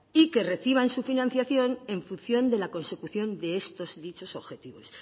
y que reciban su financiación en función de la consecución de estos dichos objetivos